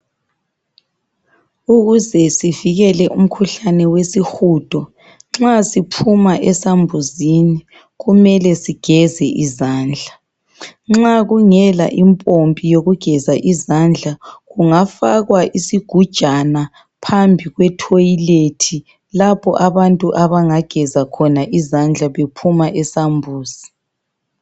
Ukuze sivikele umkhuhlane wesihudo, nxa siphuma esambuzini kumele sigeze izandla. Nxa kungela impompi yokugeza izandla kungafakwa isigujana phambi kwe toilet lapho abantu abangageza khona izandla bephuma esambuzi.